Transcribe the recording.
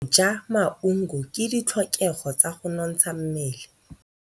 Go ja maungo ke ditlhokegô tsa go nontsha mmele.